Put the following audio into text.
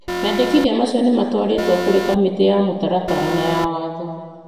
Mendekithia macio nĩ matwarĩtwo kũrĩ Kamĩtĩ ya mĩtaratara na ya watho.